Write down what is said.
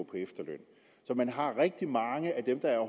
efterløn så man har rigtig mange af dem der er